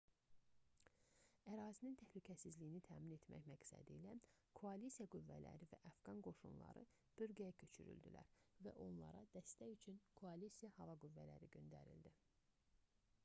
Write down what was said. ərazinin təhlükəsizliyini təmin etmək məqsədilə koalisiya qüvvələri və əfqan qoşunları bölgəyə köçürüldülər və onlara dəstək üçün koalisiya hava qüvvələri də göndərildi